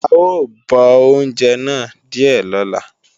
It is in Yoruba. À ó bọ oúnjẹ náà díè lọ́la